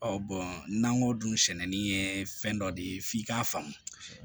n'an ko dunsɛnin ye fɛn dɔ de ye f'i k'a faamu